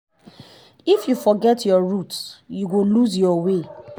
if you forget your root you go loose your way.